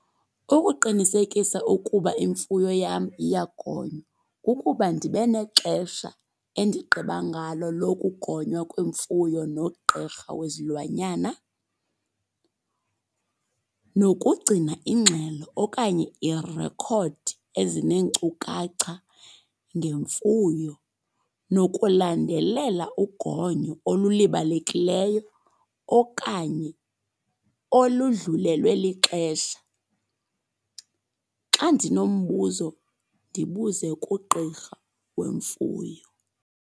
Ukuqinisekisa ukuba imfuyo yam iyagonywa kukuba ndibe nexesha endigqiba ngalo lokugonywa kwemfuyo nogqirha wezilwanyana nokugcina ingxelo okanye iirekhodi ezineenkcukacha ngemfuyo. Nokulandelela ugonyo olulibalekileyo okanye oludlulelwe lixesha. Xa ndinombuzo ndibuze kugqirha wemfuyo.